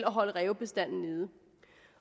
holde rævebestanden nede